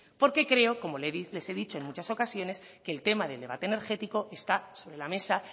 porque creo como les he dicho en muchas ocasiones que el tema del debate energético está sobre la mesa